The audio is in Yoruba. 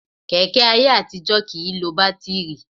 Kẹ̀kẹ́ ayé àtijọ́ kì í lo bátíìrì